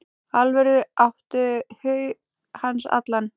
Tölvur áttu hug hans allan.